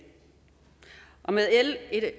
med l